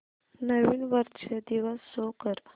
नवीन वर्ष दिवस शो कर